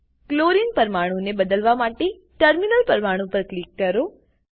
chlorine પરમાણું ને બદલવા માટે ટર્મિનલ પરમાણું પર ક્લિક કરો